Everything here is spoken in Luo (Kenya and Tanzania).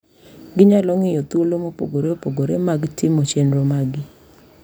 Ginyalo ng’iyo thuolo mopogore opogore mag timo chenro maggi.